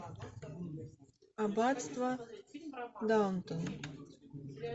аббатство даунтон